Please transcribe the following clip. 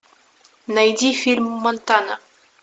найди фильм монтана